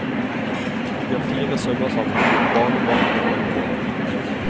De har fire sønner sammen, barnebarn og oldebarn.